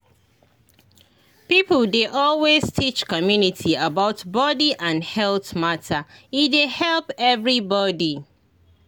people dey always teach community about body and health matter e dey help everybody.